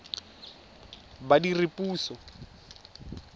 badiredipuso